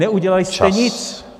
Neudělali jste nic.